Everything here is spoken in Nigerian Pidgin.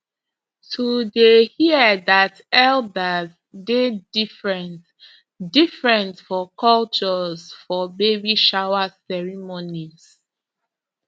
to dey hear that elders dey different different for cultures for baby shower ceremonies